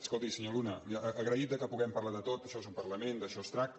escolti senyor luna agraït que puguem parlar de tot això és un parlament d’això es tracta